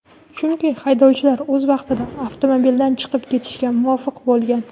chunki haydovchilar o‘z vaqtida avtomobildan chiqib ketishga muvaffaq bo‘lgan.